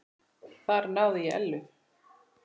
Þar náði ég Ellu.